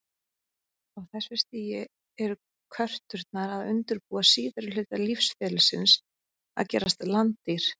Á þessu stigi eru körturnar að undirbúa síðari hluta lífsferlisins, að gerast landdýr.